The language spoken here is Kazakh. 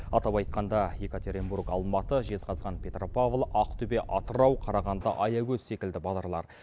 атап айтқанда екатеринбург алматы жезқазған петропавл ақтөбе атырау қарағанды аягөз секілді бағдарлар